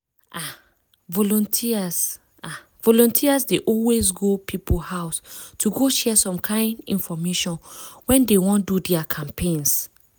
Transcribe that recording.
ah! volunteers ah! volunteers dey always go people house to go share some kind infomation when dey wan do their campaigns.